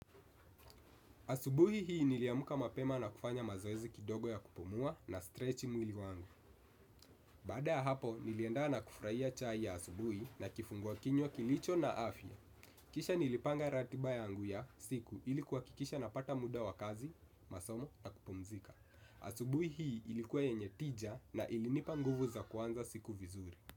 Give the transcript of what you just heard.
Asubuhi hii niliamka mapema na kufanya mazoezi kidogo ya kupumua nastretchi mwili wangu. Baada ya hapo, nilienda na kufurahia chai ya asubuhi na kifungua kinywa kilicho na afya. Kisha nilipanga ratiba yangu ya siku ili kuhakikisha napata muda wa kazi, masomo na kupumzika. Asubuhi hii ilikuwa yenye tija na ilinipa nguvu za kuanza siku vizuri.